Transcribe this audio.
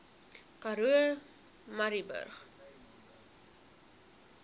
karoo murrayburg